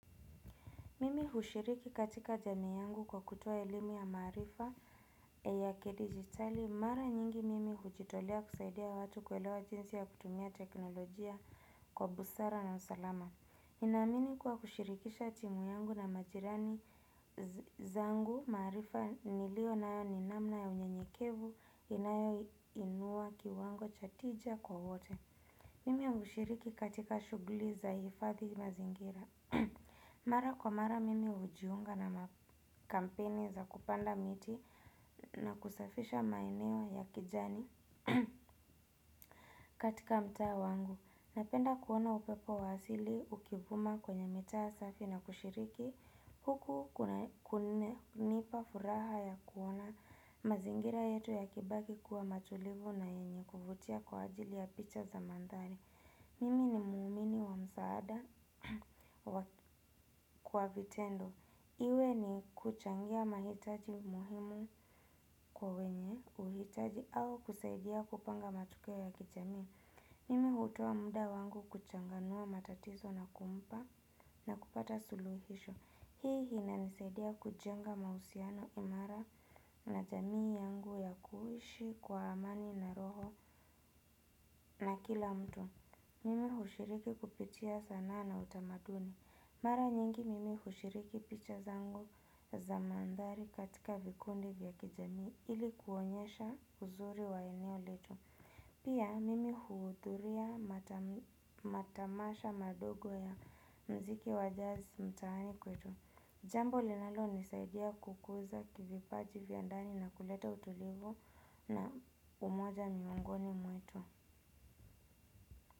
Mimi hushiriki katika jamii yangu kwa kutoa elimu ya maarifa na ya kidijitali mara nyingi mimi hujitolea kusaidia watu kuelewa jinsi ya kutumia teknolojia kwa busara na usalama. Ninamini kuwa kushirikisha timu yangu na majirani zangu, maarifa niliyonayo ni namna ya unyenyekevu inayo inua kiwango cha tija kwa wote. Mimi hushiriki katika shughuli za kuhifadhi mazingira. Mara kwa mara mimi hujiunga na makampini za kupanda miti na kusafisha maeneo ya kijani katika mtaa wangu. Napenda kuona upepo wa sili ukivuma kwenye mitaa safi na kushiriki huku kunipa furaha ya kuona mazingira yetu yakibaki kuwa matulivu na enye kuvutia kwa ajili ya picha za mandhari mimi ni muumini wa msaada kwa vitendo iwe ni kuchangia mahitaji muhimu kwa wenye, uhitaji au kusaidia kupanga matukio ya kijamii. Mimi hutoa muda wangu kuchanganua matatizo na kumpa na kupata suluhisho. Hii inanisaidia kujenga mahusiano imara na jamii yangu na kuhishi kwa amani na roho na kila mtu. Mimi hushiriki kupitia sanaa na utamaduni. Mara nyingi mimi hushiriki picha zango za mandhari katika vikundi vya kijamii ili kuonyesha uzuri wa eneo letu. Pia mimi huudhuria matamasha madogo ya muziki wa jazi mtaani kwetu. Jambo linalonisaidia kukuza vipaji vyandani na kuleta utulivu na umoja miongoni mwetu.